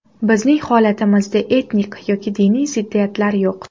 Bizning holatimizda etnik yoki diniy ziddiyatlar yo‘q.